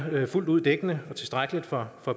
fuldt ud dækkende og tilstrækkeligt for